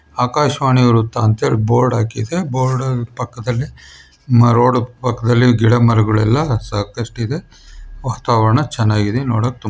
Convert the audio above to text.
ಆಕಾಶ್ ವಾಣಿ ವೃತ್ತ ಅಂತ ಹೇಳಿ ಬೋರ್ಡ್ ಹಾಕಿದೆ. ಬೋರ್ಡ್ ಪಕ್ಕದಲ್ಲಿ ರೋಡ್ ಪಕ್ಕದಲ್ಲಿ ಗಿಡ ಮರಗುಳೆಲ್ಲ ಸಾಕಷ್ಟು ಇದೆ ವಾತಾವರಣ ಚೆನ್ನಾಗಿದೆ. ನೋಡಕ್ ತುಂಬಾ--